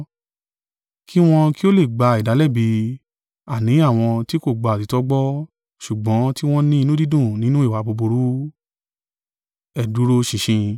kí wọn kí ó lè gba ìdálẹ́bi, àní àwọn tí kò gba òtítọ́ gbọ́, ṣùgbọ́n tí wọ́n ní inú dídùn nínú ìwà búburú.